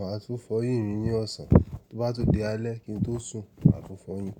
Máa tún fọyín mi ní ọ̀sán. Tó bá tun de alẹ́ kin tó sùn, mọ́ máa tún fọyín.